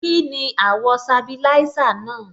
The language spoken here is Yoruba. Kíni àwọ̀ sabilisa náà?